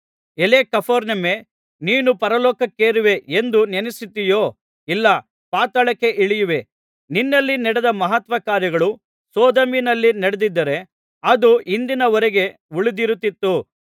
ಎಲೈ ಕಪೆರ್ನೌಮೇ ನೀನು ಪರಲೋಕಕ್ಕೇರುವೇ ಎಂದು ನೆನಸುತ್ತೀಯೋ ಇಲ್ಲ ಪಾತಾಳಕ್ಕೆ ಇಳಿಯುವೆ ನಿನ್ನಲ್ಲಿ ನಡೆದ ಮಹತ್ಕಾರ್ಯಗಳು ಸೊದೋಮಿನಲ್ಲಿ ನಡೆದಿದ್ದರೆ ಅದು ಇಂದಿನ ವರೆಗೆ ಉಳಿದಿರುತ್ತಿತ್ತು